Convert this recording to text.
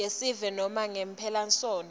yesive nobe ngemphelasontfo